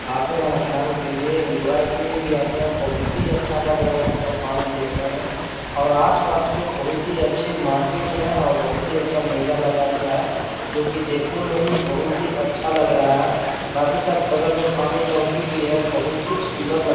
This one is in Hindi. आते है स्नान के लिए इंजॉय के लिए भी आते है बहुत ही अच्छा लग रहा है इसको पानी देखने में और आसपास में बहुत ही अच्छे मार्किट है और बहुत ही अच्छा मेला लगा हुआ है जो की देखने में ही बहुत ही अच्छा लग-लग रहा है साथ ही साथ बगल में पानी टंकी भी है बहुत ही सुन्दर--